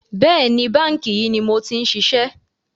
Bẹ́ẹ̀ni, báńkì yìí ni mo ti ń ṣiṣẹ́